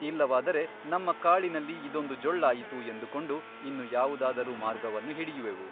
ಇಲ್ಲವಾದರೆ ನಮ್ಮ ಕಾಳಿನಲ್ಲಿ ಇದೊಂದು ಜೊಳ್ಳಾಯಿತು ಎಂದುಕೊಂಡು ಇನ್ನು ಯಾವುದಾದರೂ ಮಾರ್ಗವನ್ನು ಹಿಡಿಯುವೆವು.